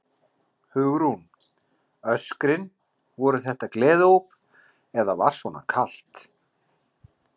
Hugrún: Öskrin, voru þetta gleðióp eða var svona kalt?